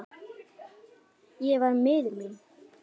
Ég var miður mín.